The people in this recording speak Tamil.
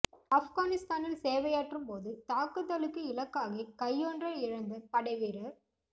ஆப்கானிஸ்தானில் சேவையாற்றும் போது தாக்குதலுக்கு இலக்காகி கையொன்றை இழந்த படை வீ